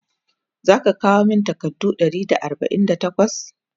zaka kawo min takardu Ɗari da arbain da takwas?